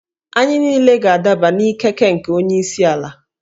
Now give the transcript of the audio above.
Anyị niile ga-adaba n'ikeke nke onye isi ala